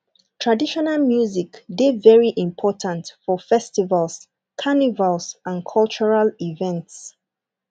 traditional music de very important for festivals carnivals and cultural events